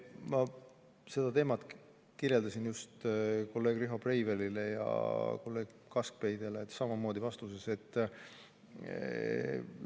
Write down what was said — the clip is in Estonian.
Ma seda teemat kirjeldasin just kolleeg Riho Breivelile ja kolleeg Kaskpeitile samamoodi oma vastuses neile.